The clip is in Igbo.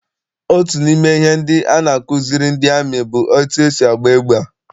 Otu n'ime ihe ndị a na-akụziri ndị amị bụ etu esi agba égbà.